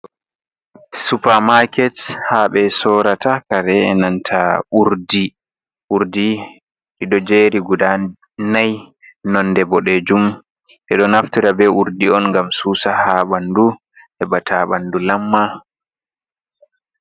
Supamaket habe sorata kare nanta urdi dido jeri guda nai. Nonde bodejum. Bedo naftira be urdi on gam susa ha bandu hebata bandu lamma.